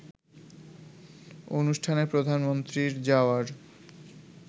অনুষ্ঠানে প্রধানমন্ত্রীর যাওয়ার